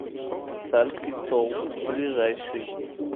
царский стол ближайший